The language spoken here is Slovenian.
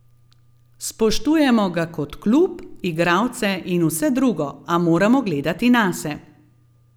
Spoštujemo ga kot klub, igralce in vse drugo, a moramo gledati nase.